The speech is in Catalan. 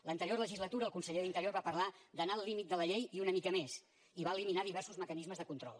l’anterior legislatura el conseller d’interior va parlar d’anar al límit de la llei i una mica més i va eliminar di·versos mecanismes de control